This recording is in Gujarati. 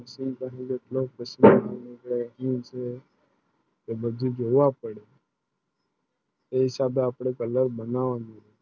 બધું જોવા પડે એ સાંધા અપને colour બનાવની